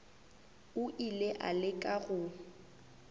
o ile a leka go